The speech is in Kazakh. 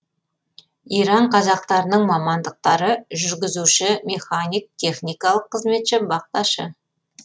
иран қазақтарының мамандықтары жүргізуші механик техникалық қызметші бақташы